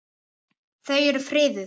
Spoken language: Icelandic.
Þau eru friðuð.